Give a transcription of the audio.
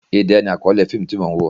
Idẹ ni àkọ́lé fíìmù tí mò ń wò.